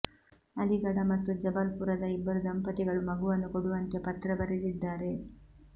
ಅಲಿಗಢ ಮತ್ತು ಜಬಲ್ಪುರದ ಇಬ್ಬರು ದಂಪತಿಗಳು ಮಗುವನ್ನು ಕೊಡುವಂತೆ ಪತ್ರ ಬರೆದಿದ್ದಾರೆ